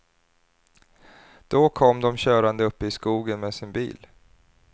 Då kom dom körande uppe i skogen med sin bil.